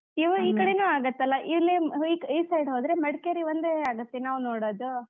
ಇವ್~ ಈ ಕಡೆನೂ ಆಗತ್ತೆಲಾ ಇಲ್ಲಿ ಈ side ಹೋದ್ರೆ ಮಡಿಕೇರಿ ಒಂದೇ ಆಗತ್ತೆ ನಾವ್ ನೋಡೋದು.